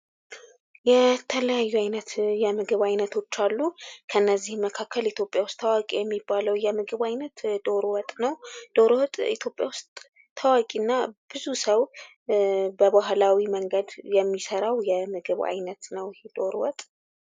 የተለያዩ አይነት የምግብ አይነቶች አሉ። ከነዚህ መካከል ኢትዮጵያ ውስጥ ታዋቂ የሚባለው የምግብ አይነት ዶሮ ወጥ ነው። ዶሮ ወጥ ብዙ ሰው